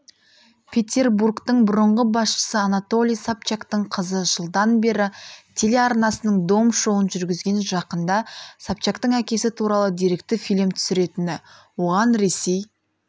петербургтың бұрынғы басшысы анатолий собчактың қызы жылдан бері телеарнасының дом шоуын жүргізген жақында собчактың әкесі туралы деректі фильм түсіретіні оған ресей